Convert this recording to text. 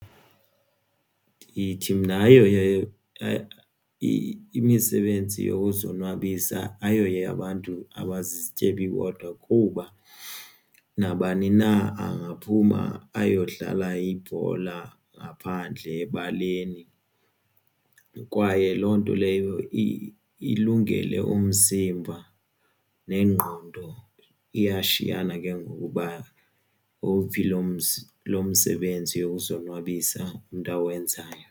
Ndithi mna imisebenzi yokuzonwabisa ayoyabantu abazizityebi bodwa kuba nabani na angaphuma ayodlala ibhola ngaphandle ebaleni kwaye loo nto leyo ilungele umzimba nengqondo. Iyashiyana ke ngoku uba uphi lo msebenzi yokuzonwabisa umntu awenzayo.